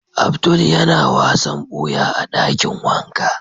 Abdul ya na wasan buya a dakin wanka.